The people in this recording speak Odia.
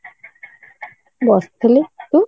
ବସିଥିଲି ତୁ?